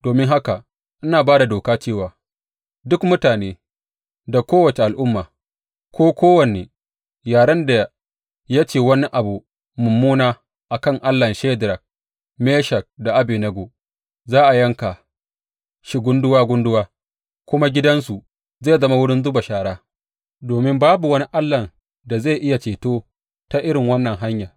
Domin haka ina ba da doka cewa duk mutane da kowace al’umma ko kowane yaren da ya ce wani abu mummuna a kan Allahn Shadrak, Meshak da Abednego za a yanka shi gunduwa gunduwa kuma gidansu zai zama wurin zuba shara, domin babu wani allahn da zai iya ceto ta irin wannan hanya.